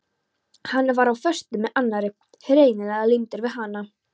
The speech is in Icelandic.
Hann var á föstu með annarri, hreinlega límdur við hana.